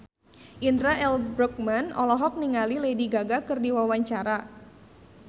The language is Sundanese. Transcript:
Indra L. Bruggman olohok ningali Lady Gaga keur diwawancara